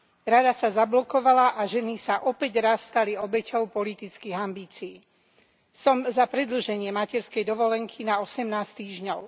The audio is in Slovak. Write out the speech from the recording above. Rada sa zablokovala a ženy sa opäť raz stali obeťou politických ambícií. Som za predĺženie materskej dovolenky na 18 týždňov.